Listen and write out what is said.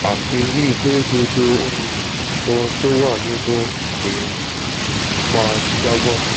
àfi bíi pé gbogbo um ohun tó wà nínú mi máa jábọ́